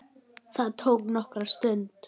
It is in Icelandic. Það tók nokkra stund.